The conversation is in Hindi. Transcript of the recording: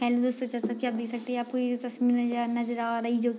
हेल्लो दोस्तों जैसा की आप देख सकते है आपको ये तस्वीर नजर नजर आ रही है जो --